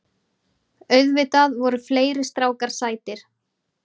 Auðvitað voru fleiri strákar sætir.